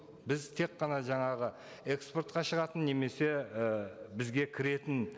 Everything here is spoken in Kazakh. біз тек қана жаңағы экспортқа шығатын немесе і бізге кіретін